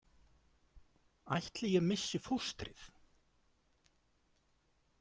„Ætli ég missi fóstrið?“